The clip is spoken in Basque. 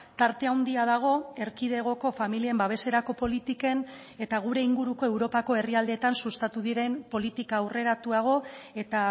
tarte handia dago erkidegoko familien babeserako politiken eta gure inguruko europako herrialdeetan sustatu diren politika aurreratuago eta